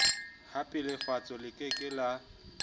hapelefatshe le ke ke la